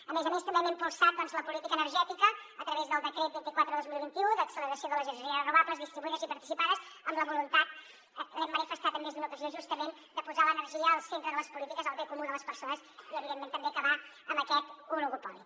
a més a més també hem impulsat doncs la política energètica a través del decret vint quatre dos mil vint u d’acceleració de les energies renovables distribuïdes i participades amb la voluntat l’hem manifestada en més d’una ocasió justament de posar l’energia al centre de les polítiques pel bé comú de les persones i evidentment també acabar amb aquest oligopoli